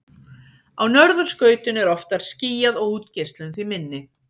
á norðurskautinu er oftar skýjað og útgeislun því minni